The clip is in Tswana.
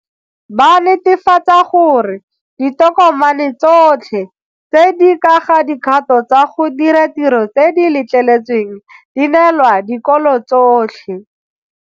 Ba netefatsa gore ditokomane tsotlhe tse di ka ga dikgato tsa go dira tiro tse di letleletsweng di neelwa dikolo tsotlhe.